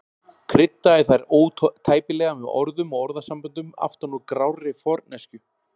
Kryddaði þær ótæpilega með orðum og orðasamböndum aftan úr grárri forneskju.